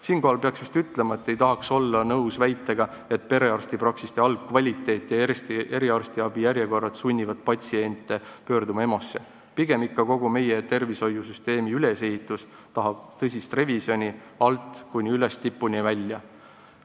Siinkohal peaks ütlema, et ei tahaks olla nõus väitega, nagu perearstipraksiste halb kvaliteet ja eriarstiabi järjekorrad sunniksid patsiente EMO-sse pöörduma, pigem tahab ikka kogu meie tervishoiusüsteemi ülesehitus tõsist revisjoni alt kuni üles, tipuni välja.